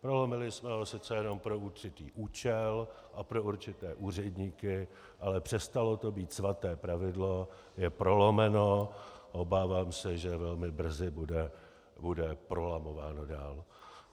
Prolomili jsme ho sice jenom pro určitý účel a pro určité úředníky, ale přestalo to být svaté pravidlo, je prolomeno, obávám se, že velmi brzy bude prolamováno dál.